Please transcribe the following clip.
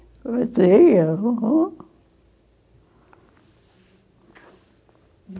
Batia, uhum.